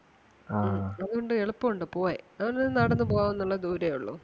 അതുകൊണ്ട് എളുപ്പം ഒണ്ട് പോവാൻ അവന് നടന്ന് പോവാൻ ഒള്ള ദൂരവേ ഒള്ളൂ.